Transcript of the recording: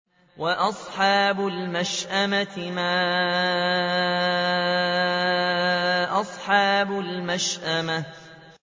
وَأَصْحَابُ الْمَشْأَمَةِ مَا أَصْحَابُ الْمَشْأَمَةِ